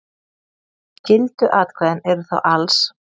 Gildu atkvæðin eru þá alls